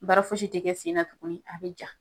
Baara fosi te kɛ sen na tugu. A be ja.